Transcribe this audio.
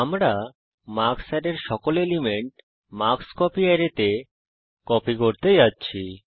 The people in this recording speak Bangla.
আমরা মার্কস অ্যারের সকল এলিমেন্ট মার্কস্কোপি অ্যারেতে কপি করতে যাচ্ছি